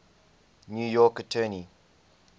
new york attorney